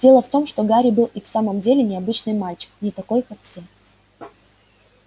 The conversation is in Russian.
дело в том что гарри был и в самом деле необычный мальчик не такой как все